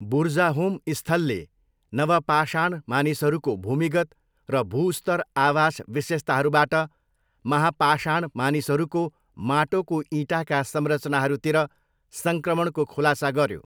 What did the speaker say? बुर्जाहोम स्थलले नवपाषाण मानिसहरूको भूमिगत र भूस्तर आवास विशेषताहरूबाट महापाषाण मानिसहरूको माटोको इँटाका संरचनाहरूतिर सङ्क्रमणको खुलासा गर्यो।